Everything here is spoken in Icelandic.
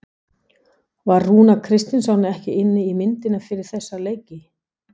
Var Rúnar Kristinsson ekki inni í myndinni fyrir þessa leiki?